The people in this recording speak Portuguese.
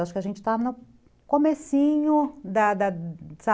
Acho que a gente está no comecinho da da